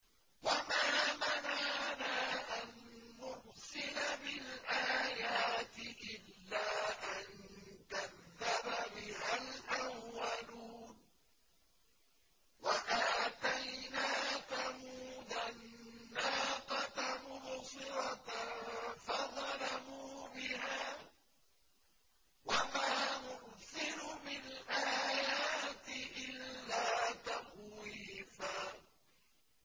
وَمَا مَنَعَنَا أَن نُّرْسِلَ بِالْآيَاتِ إِلَّا أَن كَذَّبَ بِهَا الْأَوَّلُونَ ۚ وَآتَيْنَا ثَمُودَ النَّاقَةَ مُبْصِرَةً فَظَلَمُوا بِهَا ۚ وَمَا نُرْسِلُ بِالْآيَاتِ إِلَّا تَخْوِيفًا